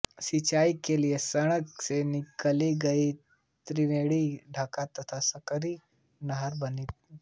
सिंचाई के लिए गंडक से निकाली गई त्रिवेणी ढाका तथा सकरी नहरें बनी है